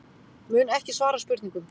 Mun ekki svara spurningum